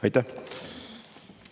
Aitäh!